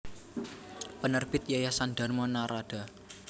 Penerbit Yayasan Dharma Naradha